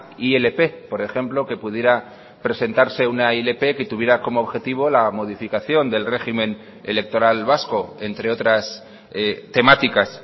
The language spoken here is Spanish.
ilp por ejemplo que pudiera presentarse una ilp que tuviera como objetivo la modificación del régimen electoral vasco entre otras temáticas